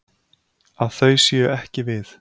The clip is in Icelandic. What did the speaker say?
Að þau séu ekki við.